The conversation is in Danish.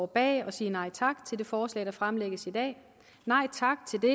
bag at sige nej tak det forslag der fremlægges i dag nej tak til det